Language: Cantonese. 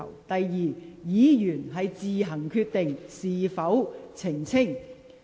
第二，有關議員可自行決定是否作出澄清。